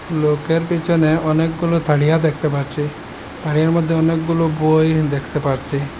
লোকের পিছনে অনেকগুলি তারিয়া দেখতে পারছি তারিয়ার মধ্যে অনেকগুলো বই দেখতে পারছি।